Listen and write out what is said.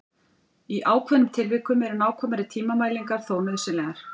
Í ákveðnum tilvikum eru nákvæmari tímamælingar þó nauðsynlegar.